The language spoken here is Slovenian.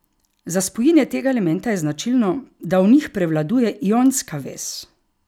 Za spojine tega elementa je značilno, da v njih prevladuje ionska vez.